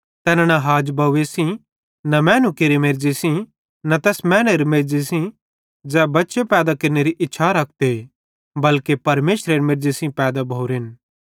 तैना न हाजबव्वे सेइं न मैनू केरे मेर्ज़ी सेइं न तैस मैनेरे मेर्ज़ी सेइं ज़ै बच्चे पैदा केरनेरी इच्छा रखते बल्के परमेशरेरे मेर्ज़ी सेइं पैदा भोरेन